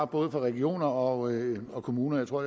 både regioner og og kommuner jeg tror